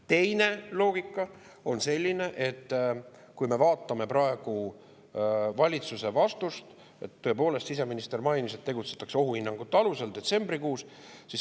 Teine loogika on selline, et kui me vaatame praegu valitsuse vastust, tõepoolest, siseminister mainis, et tegutsetakse detsembrikuiste ohuhinnangute alusel.